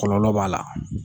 Kɔkɔlɔ b'a la.